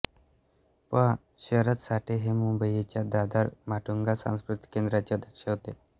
पं शरद साठे हे मुंबईच्या दादर माटुंगा सांस्कृतिक केंद्राचे अध्यक्ष होते